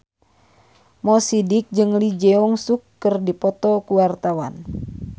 Mo Sidik jeung Lee Jeong Suk keur dipoto ku wartawan